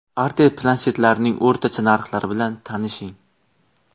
Artel planshetlarining o‘rtacha narxlari bilan tanishing.